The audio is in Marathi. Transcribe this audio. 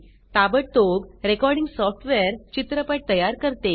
ताबडतोब रेकॉर्डिंग सॉफ्टवेअर चित्रपट मुव्ही तयार करते